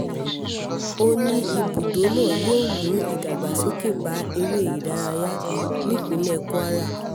ó ó ní ibùdó náà yóò mú ìdàgbàsókè bá eré ìdárayá nípínlẹ̀ kwara